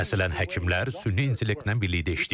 Məsələn, həkimlər süni intellektlə birlikdə işləyəcək.